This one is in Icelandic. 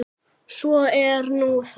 Svo er nú það.